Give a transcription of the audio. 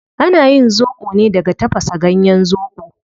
Ana yin zobo ne daga tafasa ganyen zobo